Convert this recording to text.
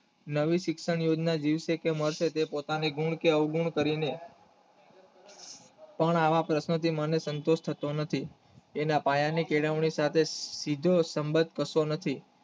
નવું શિક્ષણ વિષ સેકેન્ડ હશે તે પોતાની ગુણ કે અવગુણ કરી નથી પણ આવા પ્રશ્ન ચિન્હ ને સમજ થતો નથી એના પાયાની કેળવણી સાથે સીધો સબંધ થતો નથી